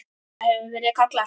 Það hefur verið kallað